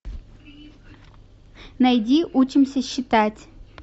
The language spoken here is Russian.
найди учимся считать